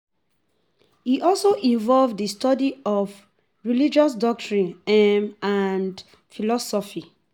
E also involve di study of religious doctrines um and philosophy